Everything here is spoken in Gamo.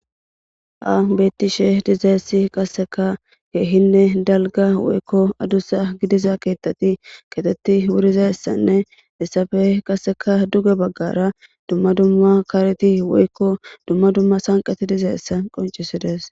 ha bettishe dizaessi qasseka keehinne dalga woykko adussa gidiza keetteti keetetti wurizayessanne dissafe qasseka duga baggara dumma dumma kareti woykko dumma dumma sanqati dizaessa qoncisides